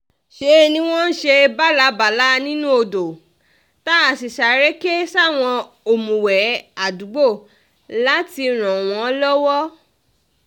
ṣe ni wọ́n ń ṣe bálá-bàlà nínú odò tá a sì sáré ké sáwọn òmùwé àdúgbò láti ràn wọ́n lọ́wọ́